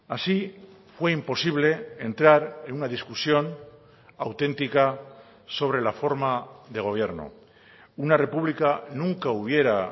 así fue imposible entrar en una discusión auténtica sobre la forma de gobierno una república nunca hubiera